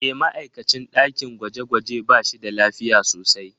E, ma'aikacin ɗakin gwaje-gwaje ba shi da lafiya sosai.